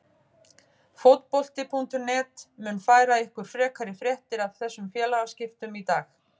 Fótbolti.net mun færa ykkur frekari fréttir af þessum félagaskiptum í dag.